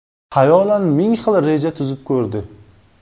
Xayolan ming xil reja tuzib ko‘rdi.